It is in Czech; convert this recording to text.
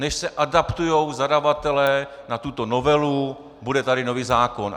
Než se adaptují zadavatelé na tuto novelu, bude tady nový zákon.